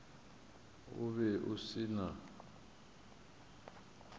o be o se na